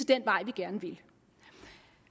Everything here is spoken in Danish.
den vej vi gerne vil